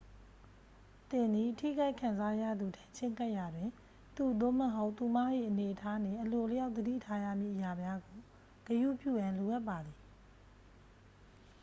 သင်သည် ထိခိုက်ခံစားရသူထံ ချဉ်းကပ်ရာတွင် သူ သို့မဟုတ် သူမ၏အနေအထားနှင့် အလိုအလျောက်သတိထားရမည့်အရာများကို ဂရုပြုရန်လိုအပ်ပါသည်